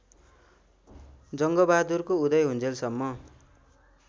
जङ्गबगादुरको उदय हुन्जेलसम्म